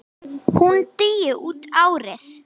Hún dugi út árið.